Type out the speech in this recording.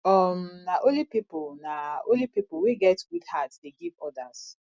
um na only pipo na only pipo wey get good heart dey give odas